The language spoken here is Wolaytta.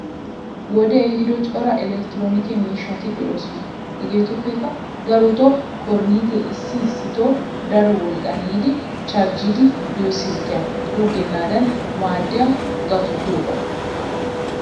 Wodee ehido cora elektroonike miishshati de'oosona. Hegeetuppekka daroto korinttee issi issito daro wolqqan yiidi charjjiiddi diyo silkkiya xuuggennaadan maadiya gaatto giyogaa.